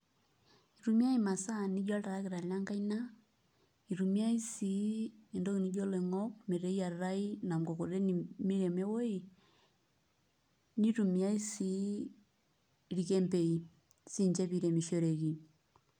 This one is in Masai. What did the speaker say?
Itumiyiai imasaa nijo oltarakita lenkaiina, itumiyiai sii entoki nijo iloingok meteyiatai ina mkokoteni miremo ewoji, nitumiyia sii irkembei siinche piiremishoreki.